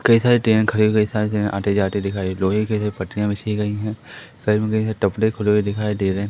कई सारी ट्रेन खड़ी हो गई कई सारी ट्रेन आती-जाती दिखाई लोहे के जो पटरिया बिछी गई है साइड में कैसा टपरी खुले हुए दिखाई दे रहे हैं।